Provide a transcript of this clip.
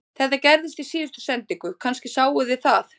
Þetta gerðist í síðustu sendingu, kannski sáuð þið það